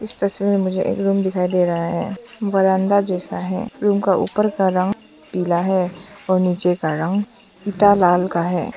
सच में मुझे एल्बम दिखाई दे रहा है। बरांडा जैसा है । रूम का ऊपर कर रहा हूं पीला है और नीचे कर रहा हूं पिता लाल का है।